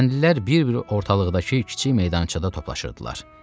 Kəndlilər bir-bir ortalıqdakı kiçik meydançada toplaşırdılar.